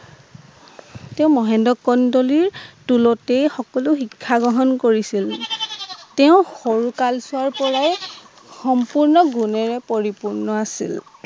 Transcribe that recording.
তেওঁ মহেন্দ্ৰ কন্দলিৰ টোলতেই সকলো শিক্ষা গ্ৰহণ কৰিছিল তেওঁ সৰুকালছোৱাৰপৰাই সম্পূৰ্ণ গুণৰো পৰিপূৰ্ণ আছিল